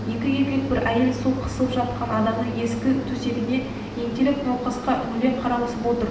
екі еркек бір әйел сол қысылып жатқан адамның ескі төсегіне ентелеп науқасқа үңіле қарасып отыр